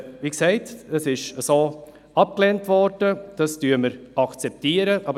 Sie wurde abgelehnt, das akzeptieren wir.